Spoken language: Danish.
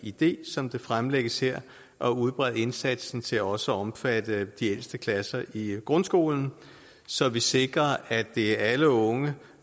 idé som det fremlægges her at udbrede indsatsen til også at omfatte de ældste klasser i grundskolen så vi sikrer at det er alle unge